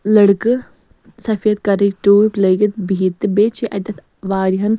.لٔڑکہٕ سفید کرٕکۍ ٹوٗپۍ لٲگِتھ بِہِتھ تہٕ بیٚیہِ چُھ اَتٮ۪تھ واریاہن